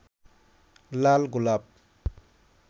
লাল গোলাপ